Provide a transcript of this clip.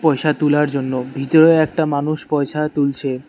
পয়সা তুলার জন্য ভিতরেও একটা মানুষ পয়সা তুলছে।